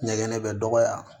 Ɲɛgɛn bɛ dɔgɔya